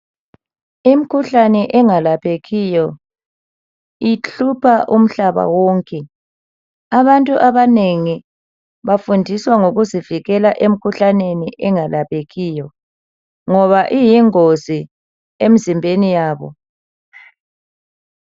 Imkhuhlane engalaphekiyo ihlupha umhlaba wonke . Abantu abanengi bafundiswa ngokuzivikela emkhuhlaneni engalaphekiyo ngoba iyingozi emzimbeni yabo.